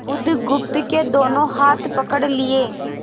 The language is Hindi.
बुधगुप्त के दोनों हाथ पकड़ लिए